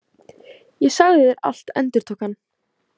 Ég sagði þér allt, endurtók hann.